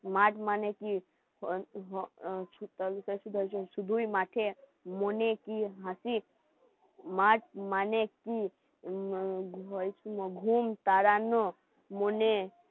মাঘ মানে কি শুধুই মাঠে মনে কি হাসি মাঠ মানে কি ঘুম তারান